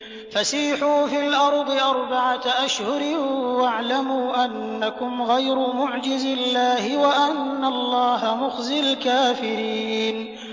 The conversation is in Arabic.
فَسِيحُوا فِي الْأَرْضِ أَرْبَعَةَ أَشْهُرٍ وَاعْلَمُوا أَنَّكُمْ غَيْرُ مُعْجِزِي اللَّهِ ۙ وَأَنَّ اللَّهَ مُخْزِي الْكَافِرِينَ